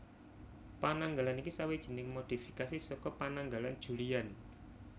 Pananggalan iki sawijining modhifikasi saka Pananggalan Julian